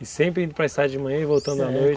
E sempre indo para estrada de manhã e voltando à noite?